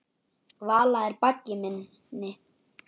Vala er baggi minni.